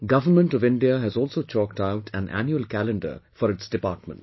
Government of India has also chalked out an annual calendar for its departments